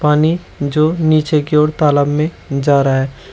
पानी जो नीचे की ओर तालाब में जा रहा है।